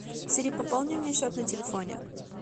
сири пополни мне счет на телефоне